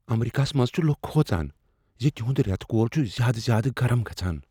امریکاہس منٛز چھ لکھ کھۄژان ز تِہنٛد ریتہٕ کول چھ زیادٕ زیادٕ گرم گژھان۔